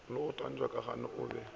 le go tantsha kagona obe